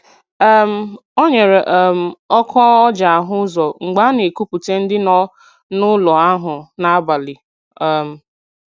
um O nyere um ọkụ o ji ahụ ụzọ mgbe a na-ekupute ndị nọ n'ụlọ ahụ n'abalị. um